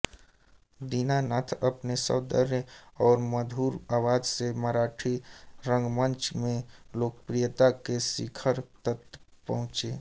दीनानाथ अपने सौंदर्य और मधुर आवाज से मराठी रंगमंच में लोकप्रियता के शिखर तक पहुचे